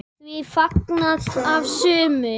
Því var fagnað af sumum.